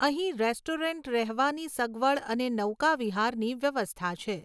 અહીં રેસ્ટોરેંટ, રહેવાની સગવડ અને નૌકા વિહારની વ્યવસ્થા છે.